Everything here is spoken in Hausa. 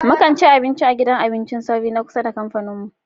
Mu kan ci abinci a gidan abincin sauri na kusa da kamfanin mu.